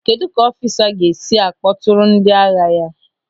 Kedụ ka ọfisa ga-esi akpọ tụụrụ ndị agha ya?